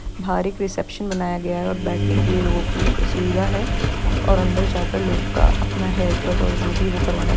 बाहर एक रीसेप्शन बनाया गया है और बैठने के लिए लोगों कि सुविधा है और अंदर जाकर लोगों का अपना हैयर कट और जो भी वो करवाना --